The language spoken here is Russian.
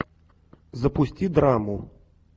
запусти драму